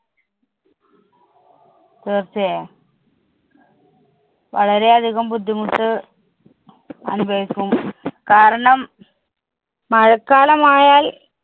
തീർച്ചയായും. വളരെ അധികം ബുദ്ധിമുട്ട് അനുഭവിക്കും. കാരണം, മഴക്കാലമായാല്‍